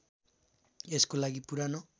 यसको लागि पुरानो